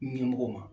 Ɲɛmɔgɔw ma